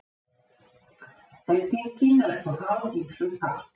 Endingin er þó háð ýmsum þáttum.